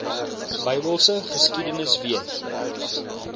bybelse geskiedenis weet